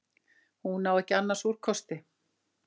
Hún á ekki annars úrkosti.